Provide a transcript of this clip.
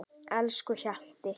Elsku Hjalti.